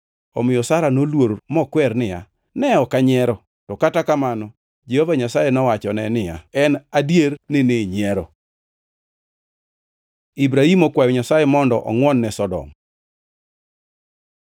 Omiyo Sara noluor mokwer niya, “Ne ok anyiero.” To kata kamano Jehova Nyasaye nowachone niya, “En adier ni ninyiero.” Ibrahim okwayo Nyasaye mondo ongʼwon ne Sodom